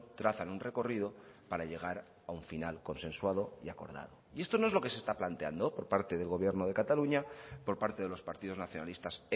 trazan un recorrido para llegar a un final consensuado y acordado y esto no es lo que se está planteando por parte del gobierno de cataluña por parte de los partidos nacionalistas